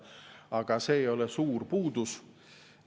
Aga see ei ole suur puudus.